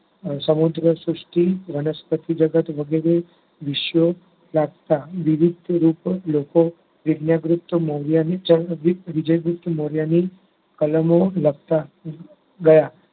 સમુદ્ર સૃષ્ટિ, વનસ્પતિ જગત વગેરે વિશ્વ જાગતા. વિવિધરૂપ લોકો વિજય ગુપ્ત મોર્યની ચરણદ્રીપ વિજય ગુપ્ત મોર્યની કલમો લખતા ગયા.